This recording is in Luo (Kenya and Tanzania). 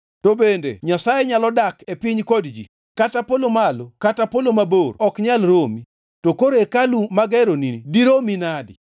“To bende Nyasaye nyalo dak e piny kod ji? Kata polo malo kata polo mabor ok nyal romi, to koro hekalu mageroni to diromi nade!